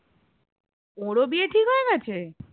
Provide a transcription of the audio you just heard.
ওড়ো বিয়ে ঠিক হয়ে গেছে?